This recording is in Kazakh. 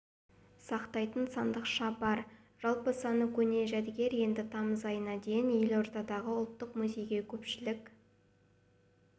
сақтайтын сандықша бар жалпы саны көне жәдігер енді тамыз айына дейін елордадағы ұлттық музейде көпшілік